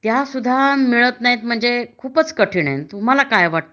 त्यासुद्धा मिळत नाही म्हणजे खूपच कठीण आहे . तुम्हाला काय वाटत